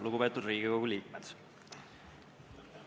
Lugupeetud Riigikogu liikmed!